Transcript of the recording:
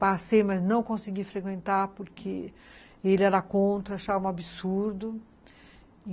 Passei, mas não consegui frequentar porque ele era contra, achava um absurdo.